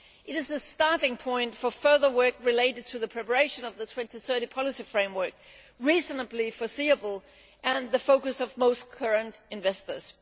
It is the starting point for further work related to the preparation of the 2030 policy framework, which is reasonably foreseeable and the focus of most current investors.